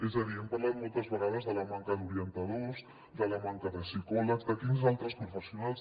és a dir hem parlat moltes vegades de la manca d’orientadors de la manca de psicòlegs de quins altres professionals